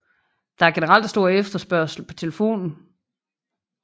Der er generelt stor efterspørgsel på telefonen